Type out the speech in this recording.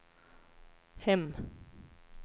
hem